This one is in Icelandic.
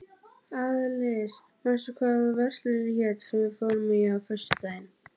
Þrír menn svömluðu um í sökkvandi brakinu.